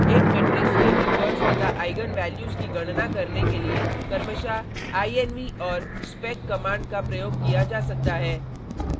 एक मेट्रिक्स के इनवर्स तथा आईगन वैल्यूज की गणना करने के लिए क्रमशः inv और spec कमांड का प्रयोग किया जा सकता है